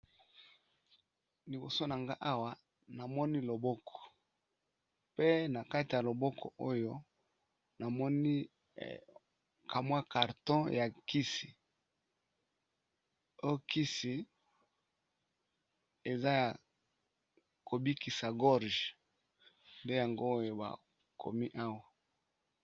Liboso nanga awa namoni loboko pe na kati ya loboko oyo namoni kamwa karton ya nkisi e kisi eza ya kobikisa gorge nde yango oyo bakomi awa.